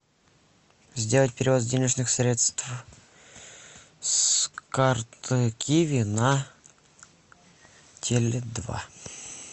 сделать перевод денежных средств с карты киви на теле два